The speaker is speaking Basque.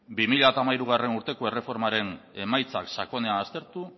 bi mila hamairugarrena urteko erreformaren emaitza sakonean aztertu